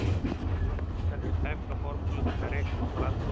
Að lokum skal hér tæpt á formúlu til að reikna út flatarmál þríhyrnings: